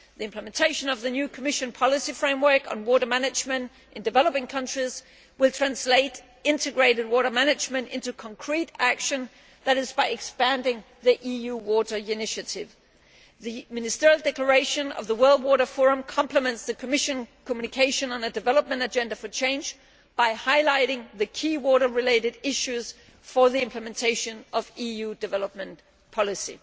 The implementation of the new Commission policy framework on water management in developing countries will translate integrated water management into concrete action, that is by expanding the EU Water Initiative. The Ministerial Declaration of the World Water Forum complements the Commission communication on a development Agenda for change, by highlighting the key water related issues for the implementation of EU development policy.